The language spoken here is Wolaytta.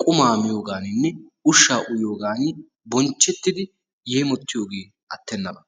qumma miiyoganinee ushsha uyiyogan bonchchetidi yeemotiyogee attenaba.